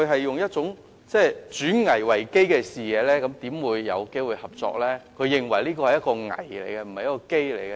如果他以"轉危為機"的視野，又怎麼會看到大灣區會帶來合作機會呢？